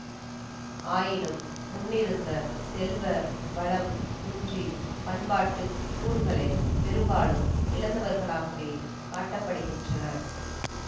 ஆயினும் முன்னிருந்த செல்வ வளம் குன்றி பண்பாட்டு கூறுகளை பெரும்பாலும் இழந்தவர்களாகவே காட்ட படுகிறனர்